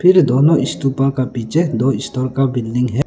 फिर दोनो स्तूपो का पीछे दो स्तर का बिल्डिंग है।